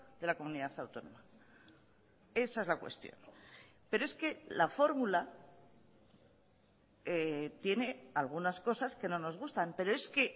de la comunidad autónoma esa es la cuestión pero es que la fórmula tiene algunas cosas que no nos gustan pero es que